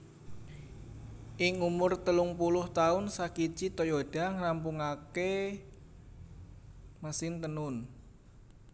Ing umur telungpuluh taun Sakichi Toyoda ngrampungakaké mesin Tenun